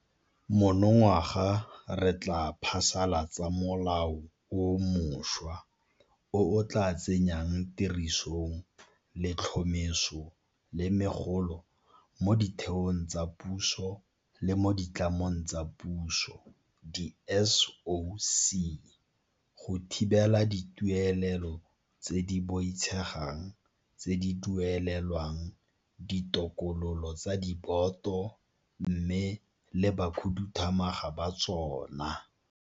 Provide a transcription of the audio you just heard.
Monongwaga re tla phasala tsa molao o mošwa o o tla tsenyang tirisong letlhomeso la megolo mo ditheong tsa puso le mo ditlamong tsa Puso di-SOC go thibela dituelelo tse di boitshegang tse di duelelwang ditokololo tsa diboto mmogo le bakhuduthamaga ba tsona.